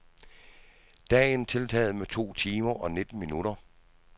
Dagen tiltaget med to timer og nitten minutter.